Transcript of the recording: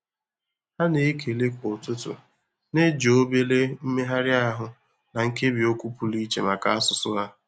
Ha na-ekele kwa ụtụtụ na-eji obere mmegharị ahụ na nkebiokwu pụrụ iche maka asụsụ ha.